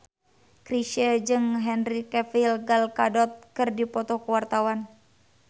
Chrisye jeung Henry Cavill Gal Gadot keur dipoto ku wartawan